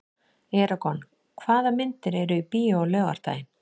Eragon, hvaða myndir eru í bíó á laugardaginn?